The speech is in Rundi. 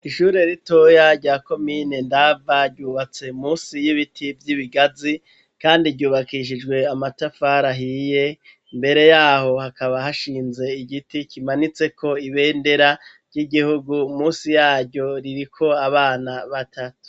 Ishure ritoya rya komine Ndava, ryubatse munsi y'Ibiti vy'Ibigazi kandi ryubakishijwe amatafari ahiye, mbere yaho hakaba hashinze Igiti kimanitse ko Ibendera ry'Igihugu munsi yaryo ririko Abana batatu.